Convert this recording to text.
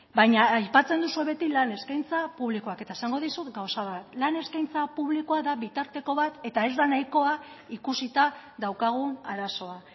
baina aipatzen duzuen beti lan eskaintza publikoak eta esango dizut gauza bat lan eskaintza publikoa da bitarteko bat eta ez da nahikoa ikusita daukagun arazoa